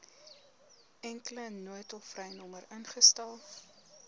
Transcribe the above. enkele noodtolvrynommer ingestel